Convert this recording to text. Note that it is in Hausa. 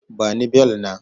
Bani bel na!